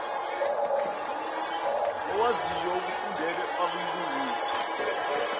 owaziyo okufundele ayilungise